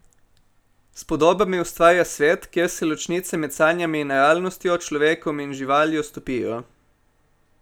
S podobami ustvarja svet, kjer se ločnice med sanjami in realnostjo, človekom in živaljo, stopijo.